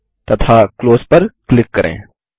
तथा क्लोज पर क्लिक करें